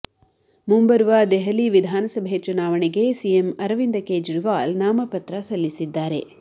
ಮುಂಬರುವ ದೆಹಲಿ ವಿಧಾನಸಭೆ ಚುನಾವಣೆಗೆ ಸಿಎಂ ಅರವಿಂದ ಕೇಜ್ರಿವಾಲ್ ನಾಮಪತ್ರ ಸಲ್ಲಿಸಿದ್ದಾರೆ